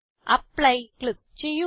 apply click ചെയ്യുക